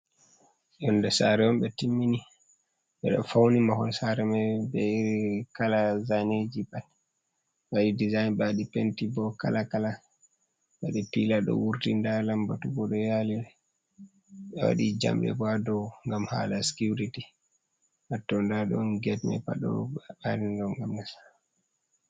Yonde sare on ɓe timmini ɓeɗo fauni mahol sare mai be kala zaneji pat ɓewaɗi dizayn ɓewaɗi penti bo kala kala ɓewaɗi pila ɗo wurti nda lambatu bo ɗo yalire ɓe waɗi jamɗe bo ɗo ngam hala sikuriti hatto nda ɗon getma pat ɗo marinɗo ngam nassa.